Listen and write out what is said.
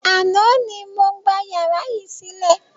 Àná ni mo gbà yàrá yìí sílẹ̀.